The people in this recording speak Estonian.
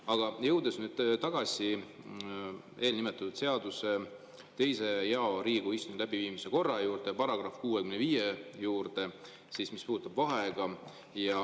Aga jõuan nüüd tagasi eelnimetatud seaduse 2. jao, Riigikogu istungi läbiviimise korra juurde, § 65 juurde, mis puudutab vaheaega.